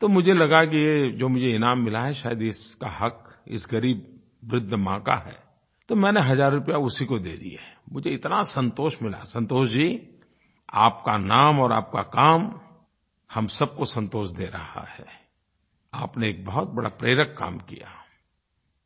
तो मुझे लगा कि जो मुझे इनाम मिला है शायद इसका हक़ इस ग़रीब वृद्ध माँ का है तो मैंने हज़ार रुपये उसी को दे दिएI मुझे इतना संतोष मिलाI संतोष जी आपका नाम और आपका काम हम सबको संतोष दे रहा हैI आपने एक बहुत बड़ा प्रेरक काम कियाI